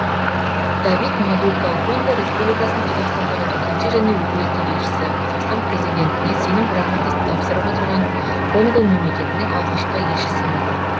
давид мадука конго республикасының қазақстандағы төтенше және өкілетті елшісі қазақстан президентіне сенім грамотасын тапсырып отырған конго мемлекетінің алғашқы елшісімін